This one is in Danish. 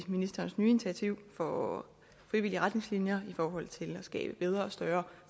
ministerens nye initiativ for frivillige retningslinjer i forhold til at skabe bedre og større